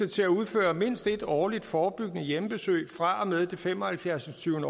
til at udføre mindst et årligt forebyggende hjemmebesøg fra og med det fem og halvfjerds